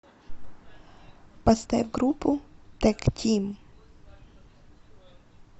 поставь группу тэг тим